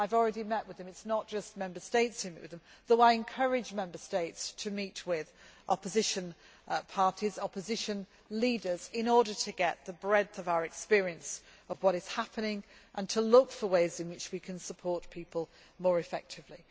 I have already met with them. It is not just Member States who meet with them, though I encourage Member States to meet with opposition parties and opposition leaders in order to get the breadth of our experience of what is happening and to look for ways in which we can support people more effectively.